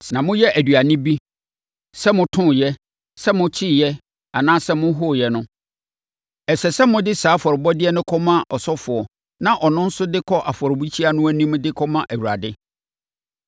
Sɛ moyɛ aduane bi, sɛ motooɛ, sɛ mokyeeɛ anaasɛ mohoeɛ no, ɛsɛ sɛ mode saa afɔrebɔdeɛ no kɔma ɔsɔfoɔ na ɔno nso de kɔ afɔrebukyia no anim de kɔma Awurade.